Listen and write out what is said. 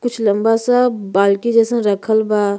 कुछ लम्बा सा बाल्की जैसन रखल बा।